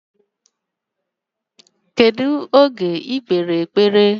Kedu oge ikpe ekpere?